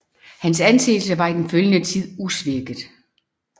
Hans anseelse var i den følgende tid usvækket